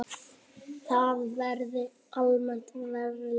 Það verði almennt verklag.